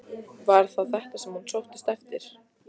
Var það þetta sem hún sóttist eftir?